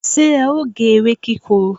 se e o ge ewe kikoro?